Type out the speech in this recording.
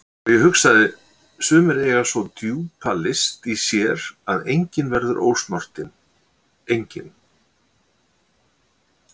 Og ég hugsaði: Sumir eiga svo djúpa list í sér að enginn verður ósnortinn, enginn.